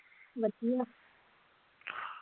ਵਧੀਆ